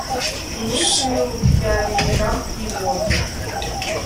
имеется ли у тебя американские боги